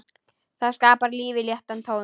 Það skapar lífinu léttan tón.